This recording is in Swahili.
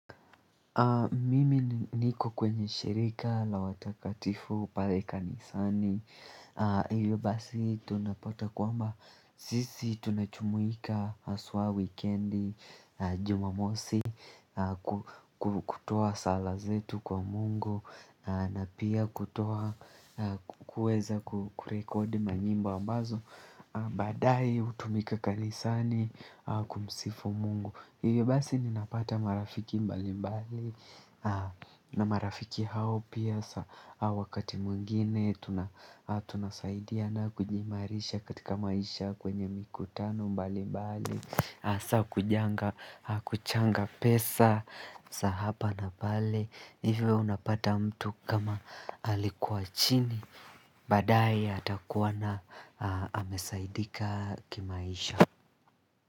Mimi niko kwenye shirika la watakatifu pale kanisani, hiyo basi tunapata kwamba, sisi tunajumuika haswa wikendi, Jumamosi, kutoa sala zetu kwa Mungu, na pia kutoa kueza kurekodi manyimbo ambazo, baadae hutumika kanisani kumsifu Mungu hivyo basi ninapata marafiki mbali mbali na marafiki hao pia wakati mwingine tuna. Tunasaidiana kujiimarisha katika maisha kwenye mikutano mbali mbali hasa kujenga kuchanga pesa za hapa na pale hivyo unapata mtu kama alikuwa chini baadae atakuwa amesaidika kimaisha.